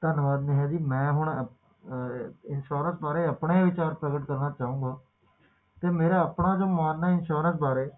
ਤੈਨੂੰ ਵੀ ਬਨਾਣਾ ਪੈਣਾ insurance ਆਪਣਾ ਵੀ ਚੱਕ ਕੇ ਤੇ ਆਪਣਾ ਵੀ ਨਾਲ-ਨਾਲ insurance